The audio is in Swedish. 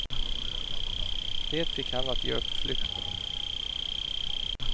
Det fick henne att ge upp flykten.